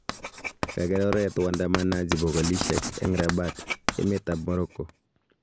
Kaker oret waandamanaji bokolisyek eng Rabat, emet ab Morocco